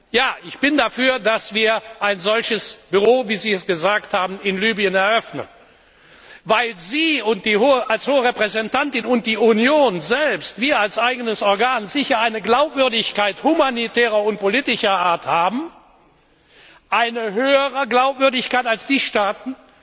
Ja, ich bin dafür, dass wir ein solches Büro, wie Sie es beschrieben haben, in Libyen eröffnen, weil Sie als Hohe Repräsentantin und die Union selbst wir als eigenes Organ sicher eine Glaubwürdigkeit humanitärer und politischer Art haben, eine höhere Glaubwürdigkeit als die Staaten,